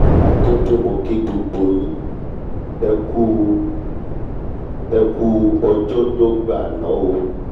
a jẹ́ pé mo kí gbogbo yín ẹkú yín ẹkú ọjọ́dọ́gba àná o!